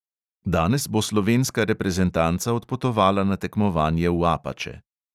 Danes bo slovenska reprezentanca odpotovala na tekmovanje v apače.